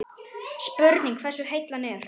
Spurning hversu heill hann er?